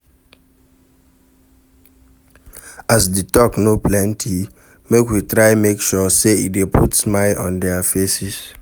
As di talk no plenty make we try make sure say e de put smile on their faces